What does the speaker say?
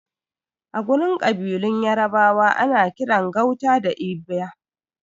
Agurin ƙabilun yarabawa ana kiran gauta da Igba